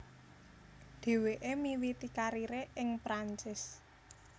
Dheweke miwiti karire ing Perancis